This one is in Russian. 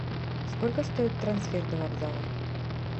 сколько стоит трансфер до вокзала